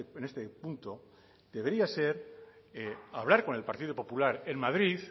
en este punto debería ser hablar con el partido popular en madrid